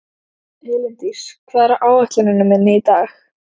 Elíndís, hvað er á áætluninni minni í dag?